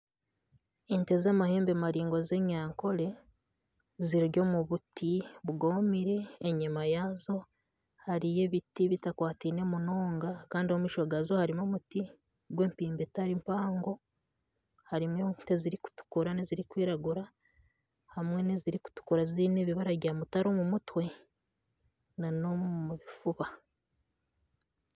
Ente z'amahembe maraingwa z'enyankore ziri omu buti bugoomire, enyima yazo hariyo ebiti bitakwataine munonga kandi omu maisho gazo harimu omuti gw'empindi etari mpango. Harimu ente zirikutukura n'ezirikwiragura hamwe n'ezirikutukura ziine ebibara bya mutare omu mutwe n'omu bifuba.